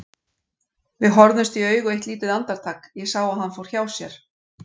Við horfðumst í augu eitt lítið andartak, ég sá að hann fór hjá sér.